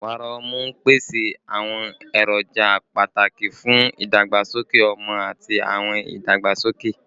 Wàrà ọmú n pese awọn eroja pataki fun idagbasoke ọmọ ati awọn idagbasoke